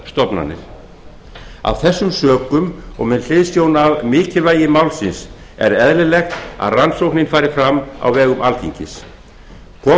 stofnanir af þessum sökum og með hliðsjón af mikilvægi málsins er eðlilegt að rannsóknin fari fram á vegum alþingis kom